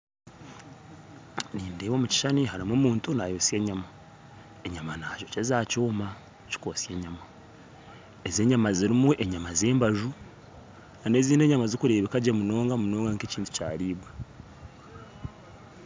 Nindeeba omu kishushani harimu omuntu naayosya enyama enyama nagyokyeza aha kyoma kikwosya enyama. Ezi enyama zirimu enyama z'embaju kandi ezindi enyama zikureebeka gye munonga munonga nk'ekintu kyariibwa